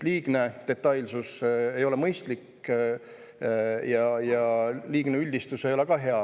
Liigne detailsus ei ole mõistlik, aga liigne üldistus ei ole ka hea.